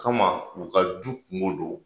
Kama u ka du kungo don